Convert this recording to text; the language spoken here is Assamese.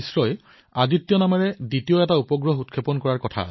ইছৰই আদিত্য শীৰ্ষক আন এক উপগ্ৰহো উৎক্ষেপণ কৰিব